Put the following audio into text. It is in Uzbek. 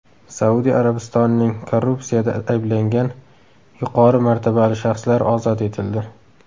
Saudiya Arabistonining korrupsiyada ayblangan yuqori martabali shaxslari ozod etildi.